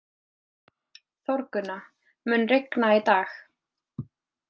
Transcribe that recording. Þórgunna, mun rigna í dag?